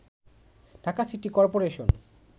Dhaka city corporation